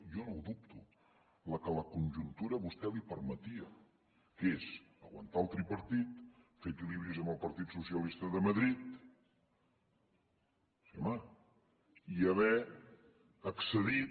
jo no ho dubto la que la conjuntura a vostè li permetia que és aguantar el tripartit fer equilibris amb el partit socialista de madrid sí home i haver accedit